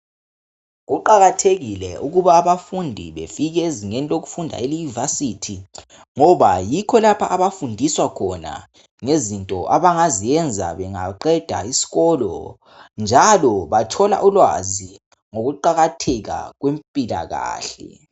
Kuqakathekile ukuba abafundi befike ezingeni lokufunda eYunivesi ngoba yikho lapho abafundiswa khona ngezinto abangazenza bengaqeda isikolo njalo bathola ulwazi ngokuqakatheka kwempilakahle.